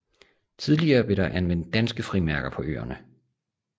Tidligere blev der anvendt danske frimærker på øerne